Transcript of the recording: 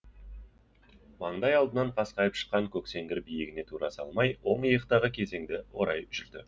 маңдай алдынан қасқайып шыққан көксеңгір биігіне тура салмай оң иықтағы кезеңді орай жүрді